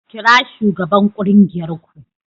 Kira shugaban kungiyar ku